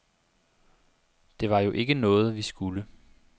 Det var jo ikke noget, vi skulle.